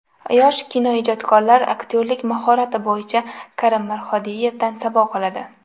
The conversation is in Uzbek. Yosh kinoijodkorlar aktyorlik mahorati bo‘yicha Karim Mirhodiyevdan saboq oladi.